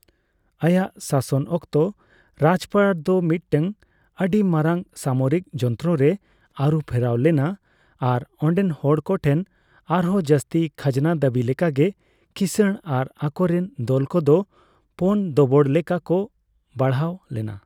ᱟᱭᱟᱜ ᱥᱟᱥᱚᱱ ᱚᱠᱛᱚ, ᱨᱟᱡᱯᱟᱴ ᱫᱚ ᱢᱤᱫᱴᱟᱝ ᱟᱹᱰᱤ ᱢᱟᱨᱟᱝ ᱥᱟᱢᱚᱨᱤᱠ ᱡᱚᱱᱛᱨᱚ ᱨᱮ ᱟᱹᱨᱩ ᱯᱷᱮᱨᱟᱣ ᱞᱮᱱᱟ ᱟᱨ ᱚᱸᱰᱮᱱ ᱦᱚᱲ ᱠᱚ ᱴᱷᱮᱱ ᱟᱨᱦᱚᱸ ᱡᱟᱹᱥᱛᱤ ᱠᱷᱟᱡᱽᱱᱟ ᱫᱟᱹᱵᱤ ᱞᱮᱠᱟᱜᱮ ᱠᱤᱥᱟᱹᱲ ᱟᱨ ᱟᱠᱚᱨᱮᱱ ᱫᱚᱞ ᱠᱚᱫᱚ ᱯᱳᱱ ᱫᱚᱵᱚᱲ ᱞᱮᱠᱟ ᱠᱚ ᱵᱟᱲᱦᱟᱣ ᱞᱮᱱᱟ ᱾